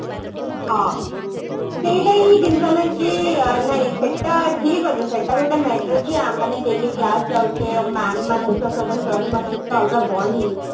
ହଁ ସେଇଟା ହିଁ ଜିନିଷ କିଏ ନାଇଁ ସେଟା ଠିକ ଅଛି ସେଟା ଗୋଟେ matter ଯେ ଆମେ ମାନେ daily class ଯାଉଛେ mam ମାନଙ୍କ ସହିତ sir ମାନଙ୍କ ସହିତ ଅଲଗା bond ହେଇଯାଇଛି